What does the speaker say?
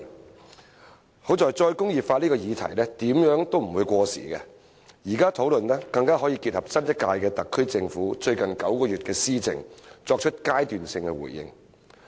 幸好"再工業化"這個議題，怎樣也不會過時，現在討論更可以結合新一屆特區政府最近9個月的施政，作出階段性的回應。